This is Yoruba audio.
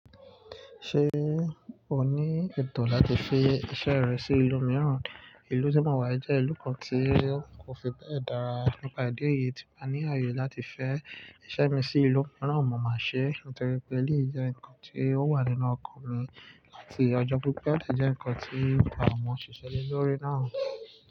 Ṣé o ní ẹ̀tọ́ láti fi iṣẹ́ rẹ sí ìlú mìíràn? Ìlú tí mo wà jẹ́ ìlú kan tí n kò fi bẹ́ẹ̀ dára. Nípa ìdí èyí tí mo ní ààyè láti fẹ́ iṣẹ́ mi sí ìlú mìíràn mo máa ṣe é. Nítorí pé, eléyìí jẹ́ nǹkan tí ó wà nínú ọkàn mi láti ọjọ́ pipé ó si jẹ́ nǹkan tí àwọn òṣìṣẹ́ ilé lórí náà.